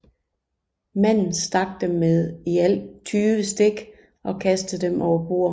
Manden stak dem med i alt 20 stik og kastede dem overbord